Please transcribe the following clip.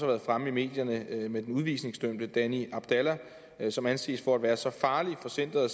været fremme i medierne med den udvisningsdømte danny abdalla som anses for at være så farlig for center